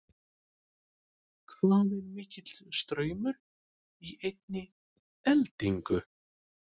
Hvað er mikill straumur í einni eldingu?